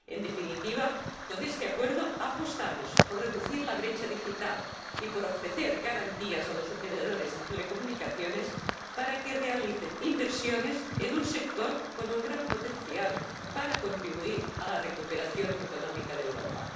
En definitiva, con este acuerdo apostamos por reducir la brecha digital y por ofrecer garantías a los operadores de telecomunicaciones para que realicen inversiones en un sector con un gran potencial para contribuir a la recuperación económica de Europa.